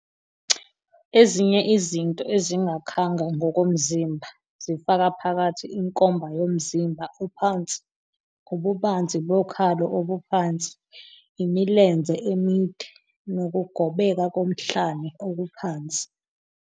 Ezinye izinto ezingakhanga ngokomzimba zifaka phakathi inkomba yomzimba ophansi, ububanzi bokhalo obuphansi, imilenze emide, nokugobeka komhlane okuphansi.